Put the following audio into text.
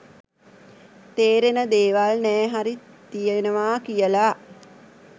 තේරෙන දේවල් නෑ හරි තියෙනවා කියලා